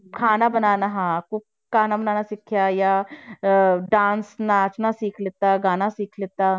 ਖਾਣਾ ਬਣਾਉਣਾ ਹਾਂ cook ਖਾਣਾ ਬਣਾਉਣਾ ਸਿੱਖਿਆ ਜਾਂ ਅਹ dance ਨੱਚਣਾ ਸਿੱਖ ਲਿੱਤਾ ਗਾਣਾ ਸਿੱਖ ਲਿੱਤਾ।